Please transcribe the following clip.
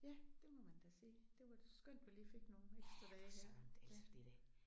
Ja. Det må man da sige det var da skønt vi lige fik nogle ekstra dage her ja